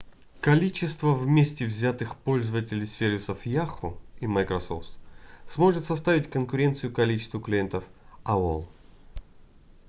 количество вместе взятых пользователей сервисов yahoo и microsoft сможет составить конкуренцию количеству клиентов aol